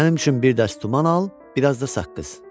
Mənim üçün bir dəst duman al, biraz da saqqız.